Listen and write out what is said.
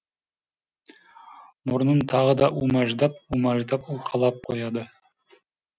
мұрнын тағы да умаждап умаждап уқалап қояды